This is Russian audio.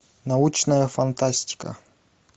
научная фантастика